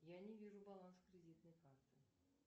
я не вижу баланс кредитной карты